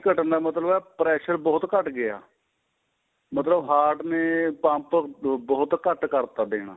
ਘਟਣ ਮਤਲਬ ਏ pressure ਬਹੁਤ ਘੱਟ ਗਿਆ ਮਤਲਬ heart ਨੇ pump ਬਹੁਤ ਘੱਟ ਕਰਤਾ ਦੇਣਾ